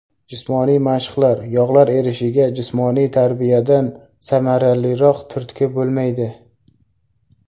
Jismoniy mashqlar Yog‘lar erishiga jismoniy tarbiyadan samaraliroq turtki bo‘lmaydi.